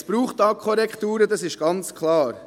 Es braucht hier Korrekturen, das ist ganz klar.